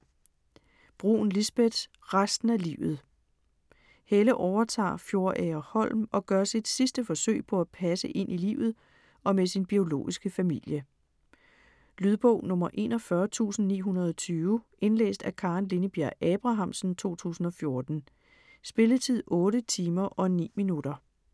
Brun, Lisbeth: Resten af livet Helle overtager Fjordagerholm og gør sit sidste forsøg på at passe ind i livet og med sin biologiske familie. Lydbog 41920 Indlæst af Karen Linnebjerg Abrahamsen, 2014. Spilletid: 8 timer, 9 minutter.